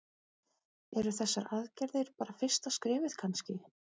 Eru þessar aðgerðir bara fyrsta skrefið kannski?